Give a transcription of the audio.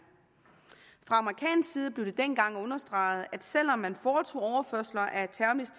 fra amerikansk side blev det dengang understreget at selv om man foretog overførsler af